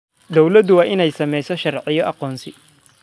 Dawladdu waa inay samaysaa sharciyo aqoonsi.